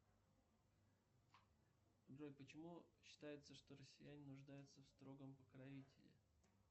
джой почему считается что россияне нуждаются в строгом покровителе